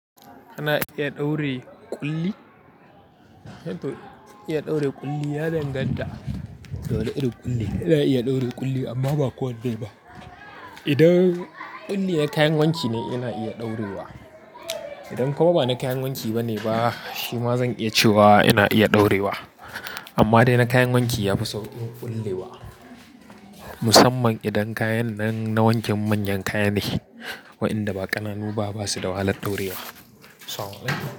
Kana iya ɗaure ƙulli? Eh to iya ɗaure ƙulli ya danganta da wane irin ƙulli. Ina iya ɗaure ƙulli amma ba kowane ba. Idan ƙulli na kayan wanki ne, ina iya ɗaurewa. Idan kuma ba na kayan wanki ba ne ba, shi ma zan iya cewa ina iya ɗaurewa. Amma dai na kayan wanki yafi sauƙin ƙullewa. Musamman idan kayan nan na wankin manyan kaya ne, wa'inda ba ƙananu ba basu da wahalar ɗaurewa.